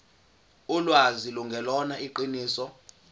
ulwazi lungelona iqiniso